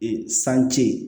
Ee sanji